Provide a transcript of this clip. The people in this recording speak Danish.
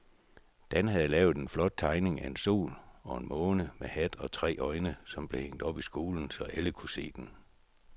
Dan havde lavet en flot tegning af en sol og en måne med hat og tre øjne, som blev hængt op i skolen, så alle kunne se den.